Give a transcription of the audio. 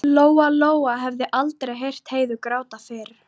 Lóa-Lóa hafði aldrei heyrt Heiðu gráta fyrr.